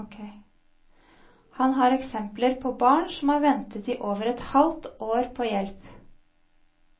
Han har eksempler på barn som har ventet i over et halvt år på hjelp.